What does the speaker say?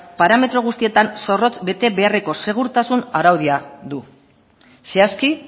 parametro guztietan zorrotz bete beharreko segurtasun araudia du zehazki